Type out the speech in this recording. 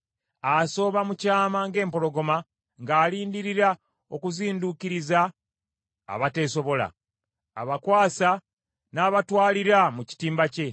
Asooba mu kyama ng’empologoma, ng’alindirira okuzinduukiriza abateesobola. Abakwasa n’abatwalira mu kitimba kye.